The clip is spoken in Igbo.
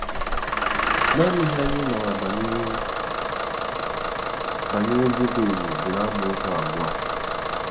Naanị ihe anyị maara banyere banyere Jebez dị n’amaokwu abụọ a.